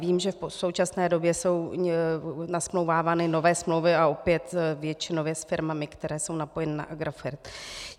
Vím, že v současné době jsou nasmlouvávány nové smlouvy a opět většinově s firmami, které jsou napojeny na Agrofert.